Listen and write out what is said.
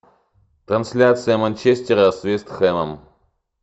трансляция манчестера с вест хэмом